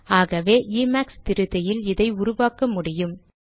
ஆகவே இமேக்ஸ் திருத்தியில் இதை உருவாக்க முடியும்